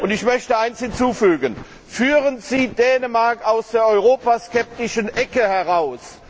Ich möchte eines hinzufügen Führen Sie Dänemark aus der europaskeptischen Ecke heraus!